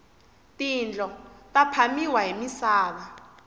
tindlo ta phamiwa hi misava